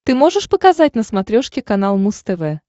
ты можешь показать на смотрешке канал муз тв